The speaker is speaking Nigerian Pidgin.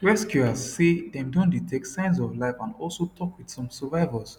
rescuers say dem don detect signs of life and also tok wit some survivors